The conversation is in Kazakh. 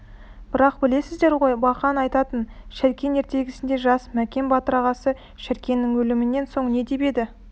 бірақ білесіздер ғой бақаң айтатын шәркен ертегісінде жас мәкен батыр ағасы шәркеннің өлімінен соң не деп еді